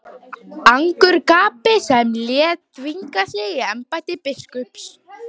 Angurgapi sem lét þvinga sig í embætti biskups.